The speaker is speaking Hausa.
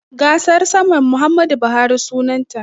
Gasar saman Muhammadu Buhari sunanta.